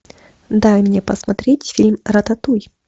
дай мне посмотреть фильм рататуй